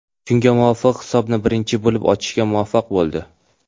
Shunga muvofiq hisobni birinchi bo‘lib ochishga muvaffaq bo‘ldi.